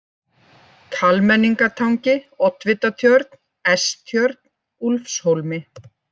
Kalmenningatangi, Oddvitatjörn, S-tjörn, Úlfshólmi